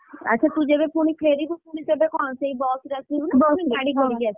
ଆଛାତୁ ଯେବେ ପୁଣି ଫେରିବୁ ପୁଣିତେବେ କଣ ସେଇ ବସ ରେ ଆସିବୁ ନା ପୁଣି ଗାଡି କରି ଆସିବୁ?